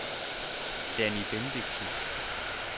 Danni Bendixen